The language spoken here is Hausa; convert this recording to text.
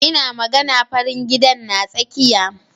Ina magana farin gidan na tsakiya.